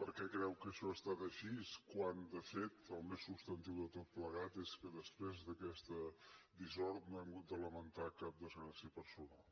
per què creu que això ha estat així quan de fet el més substantiu de tot plegat és que després d’aquesta dissort no hem hagut de lamentar cap desgràcia personal